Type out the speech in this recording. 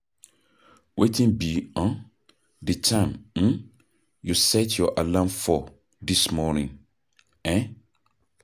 Wetin be um di time um you set your alarm for dis morning? um